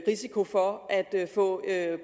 risiko for at få